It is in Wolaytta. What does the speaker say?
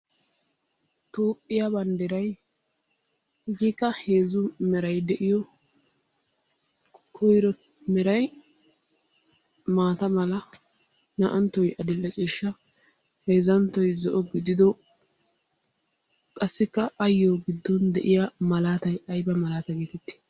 Toophphiya banddiray etikka heezzu meray de'iyo koyro meray maata mala, naa"anttoogee adil"e ciishsha, heezzanttoy zo'o gidido qassikka ayyo giddon de'iya malaatay ayba malaata geetettii?